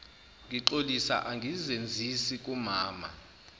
ngixolisa angizenzisi kumama